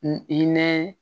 N i i nɛɛ